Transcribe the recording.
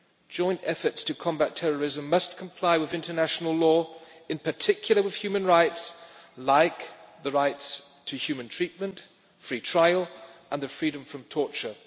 joint efforts to combat terrorism must comply with international law, in particular with human rights like the rights to human treatment free trial and the freedom from torture.